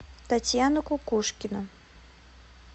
татьяна кукушкина